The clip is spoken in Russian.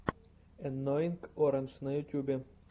энноинг орандж на ютьюбе